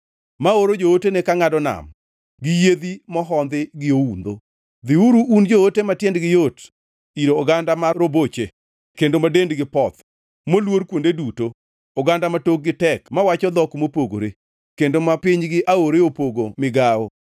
ma oro jootene ka ngʼado nam gi yiedhi mohondhi gi oundho. Dhiuru, un joote ma tiendgi yot ir oganda ma roboche kendo ma dendgi poth, moluor kuonde duto, oganda ma tokgi tek mawacho dhok mopogore, kendo ma pinygi aore opogo migawo.